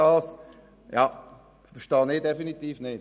Das verstehe ich definitiv nicht.